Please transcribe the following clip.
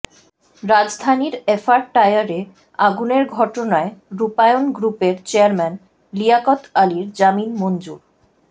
রাজধানীর এফআর টাওয়ারে আগুনের ঘটনায় রূপায়ণ গ্রুপের চেয়ারম্যান লিয়াকত আলীর জামিন মঞ্জুর